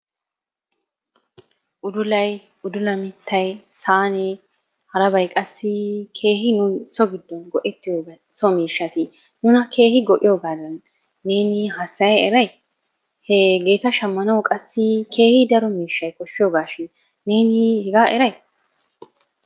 Udulay udula miittay saanee harabay qassi keehi nu so giddon go"ettiyoobay so miishati nuna keehi go"iyoogaadan neeni hassaya eray? Hegeeta shammanawu qassi keehi daro miishshay koshshiyogaashin neeni hegaa eray?